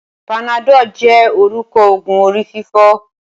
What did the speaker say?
Panadol jé orúkọ ogun orí-fífọ́.